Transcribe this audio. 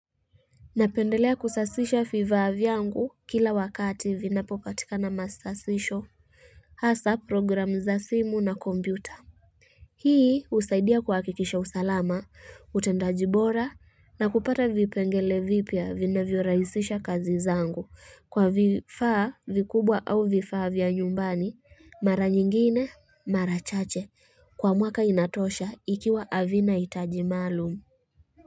Napendelea kusasisha vifaa vyangu kila wakati vinapopatikana masasisho hasaa program za simu na kompyuta Hii husaidia kuhakikisha usalama utendaji bora na kupata vipengele vipya vinavyorahisisha kazi zangu kwa vifaa vikubwa au vifaa vya nyumbani mara nyingine mara chache, kwa mwaka inatosha ikiwa havina hitaji maalum.